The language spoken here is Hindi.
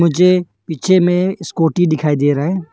मुझे पीछे में स्कूटी दिखाई दे रहा है।